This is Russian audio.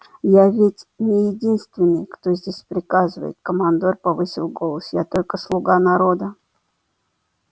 я ведь не единственный кто здесь приказывает командор повысил голос я только слуга народа